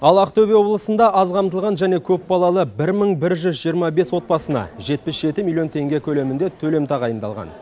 ал ақтөбе облысында аз қамтылған және көпбалалы бір мың бір жүз жиырма бес отбасына жетпіс жеті миллион теңге көлемінде төлем тағайындалған